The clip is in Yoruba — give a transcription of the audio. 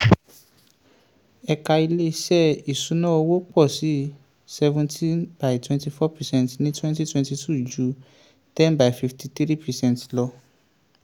ẹ̀ka ilé-iṣẹ́ ìṣúnná owó pọ̀ sí seventeen by twenty four percent ní twentytwenty two ju ten by fifty three percent lọ.